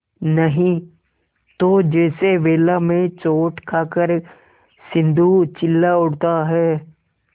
नहीं तो जैसे वेला में चोट खाकर सिंधु चिल्ला उठता है